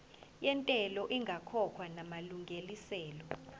yentela ingakakhokhwa namalungiselo